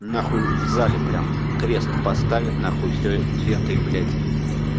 нахуй в зале прям крест поставят на хуй все лентой блять